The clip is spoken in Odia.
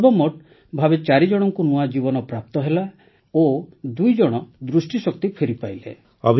ସର୍ବମୋଟ୍ ଭାବେ ଚାରିଜଣଙ୍କୁ ନୂଆ ଜୀବନ ପ୍ରାପ୍ତ ହେଲା ଓ ଦୁଇଜଣ ଦୃଷ୍ଟିଶକ୍ତି ଫେରିପାଇଲେ